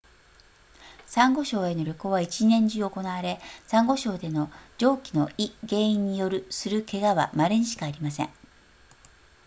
サンゴ礁への旅行は一年中行われサンゴ礁での上記のい原因によるする怪我は稀にしかありません